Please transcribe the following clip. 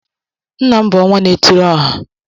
Nna m bu "onwá na-étiri ọ̀há"